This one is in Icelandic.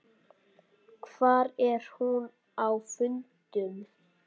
Hvar er hún á fundum?